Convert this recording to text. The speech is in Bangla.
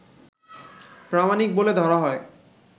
প্রামাণিক বলে ধরা হয়